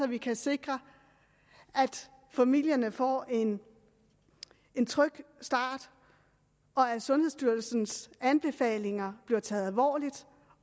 vi kan sikre at familierne får en en tryg start og at sundhedsstyrelsens anbefalinger bliver taget alvorligt